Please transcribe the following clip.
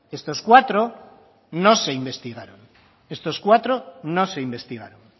estos cuatro no se investigaron estos cuatro no se investigaron